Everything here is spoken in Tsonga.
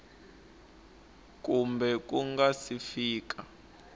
kumbe ku nga si fika